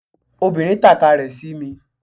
Obìnrin tàka rẹ̀ sí mi